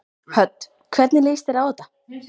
Hödd: Hvernig líst þér á þetta?